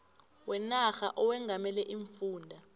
wenarha owengamele iimfunda